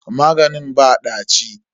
Maganin ba ɗaci.